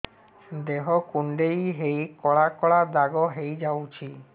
ଦେହ କୁଣ୍ଡେଇ ହେଇ କଳା କଳା ଦାଗ ହେଇଯାଉଛି